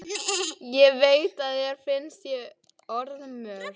Ég veit að þér finnst ég orðmörg.